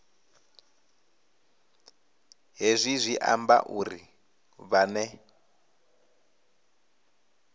hezwi zwi amba uri vhane